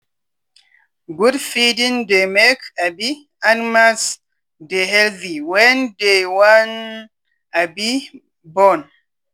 good feeding dey make um animals dey healthy wen dey wan um born